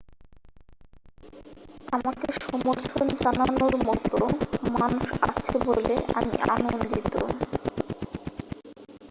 আমাকে সমর্থন জানানোর মতো মানুষ আছে বলে আমি আনন্দিত